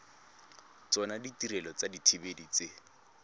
tsona ditirelo tsa dithibedi tse